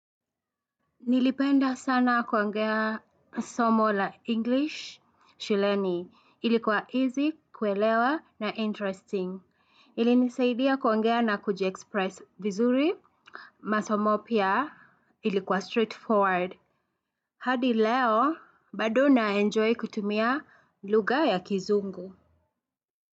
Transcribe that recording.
Nilipenda sana kuangea somo la English shuleni ilikuwa easy kuelewa na interesting ilinisaidia kuongea na kujiexpress vizuri masomo pia ilikuwa straightforward hadi leo bado naenjoy kutumia lugha ya kizungu.